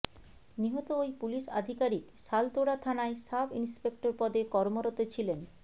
নিহত ওই পুলিশ আধিকারিক শালতোড়া থানায় সাব ইন্সপেক্টর পদে কর্মরত ছিলেন